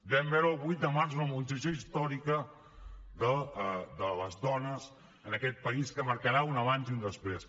vam veure el vuit de març una mobilització històrica de les dones en aquest país que marcarà un abans i un després